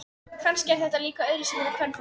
Kannski er þetta líka öðruvísi fyrir kvenfólk.